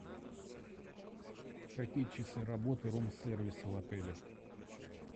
какие часы работы рум сервиса в отеле